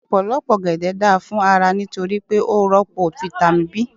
Ọ̀pọ̀lọpọ̀ ọ̀gẹ̀dẹ̀ da fún ara nítorí pé ó rọ́pò fitami B.